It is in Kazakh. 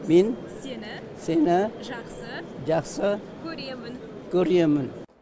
мен сені сені жақсы жақсы көремін көремін